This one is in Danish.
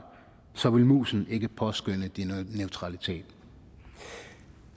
så vil musen ikke påskønne din neutralitet